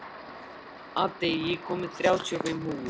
Addi, ég kom með þrjátíu og fimm húfur!